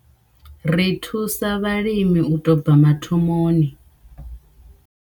Ri thusa vhalimi u tou bva mathomoni.